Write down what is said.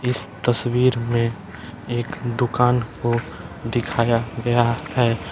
इस तस्वीर में एक दुकान को दिखाया गया है।